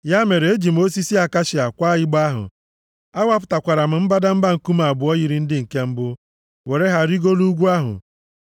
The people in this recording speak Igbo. Ya mere, eji m osisi akashia kwaa igbe ahụ. A wapụtakwara m mbadamba nkume abụọ yiri ndị nke mbụ, were ha rigoro ugwu ahụ.